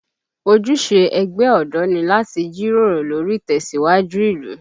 Ojúṣe ẹgbẹ́ ọ̀dọ́ ni láti jíròrò lórí ìtẹ̀síwájú ìlú